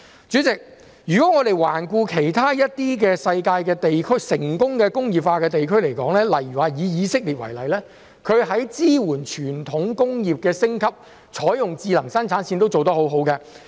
主席，環顧世界其他成功工業化的地區，例如以色列，當地在支援傳統工業升級、採用智能生產線均做得很好。